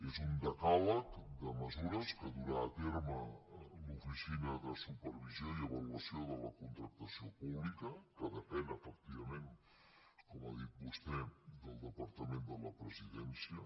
és un decàleg de mesures que durà a terme l’oficina de supervisió i avaluació de la contractació pública que depèn efectivament com ha dit vostè del departament de la presidència